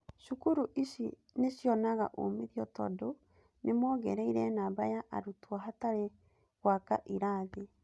cukuru ici nĩcionaga umithio tondũ nĩmongereire namba ya arutwo hatarĩ gwaka irathi.